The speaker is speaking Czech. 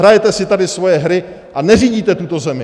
Hrajete si tady svoje hry a neřídíte tuto zemi.